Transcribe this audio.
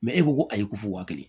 e ko ayi ku fo wa kelen